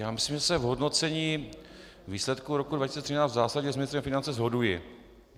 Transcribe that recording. Já myslím, že se v hodnocení výsledků roku 2013 v zásadě s ministrem financí shoduji.